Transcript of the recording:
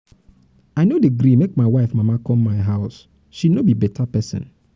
i no dey gree make my wife mama come my house she no be better pesin.